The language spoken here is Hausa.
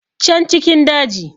can cikin daji